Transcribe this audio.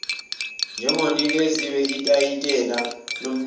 njengonikezwe itayitela lomnikazi